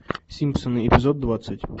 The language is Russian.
симпсоны эпизод двадцать